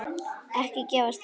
Ekki gefast upp.